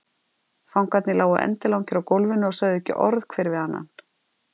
Fangarnir lágu endilangir á gólfinu og sögðu ekki orð hver við annan.